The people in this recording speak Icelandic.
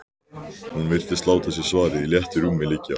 Hún virtist láta sér svarið í léttu rúmi liggja.